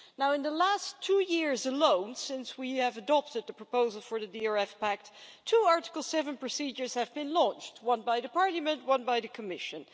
In the last two years alone, since we adopted the proposal for the DRF Pact, two Article 7 procedures have been launched one by Parliament and one by the Commission.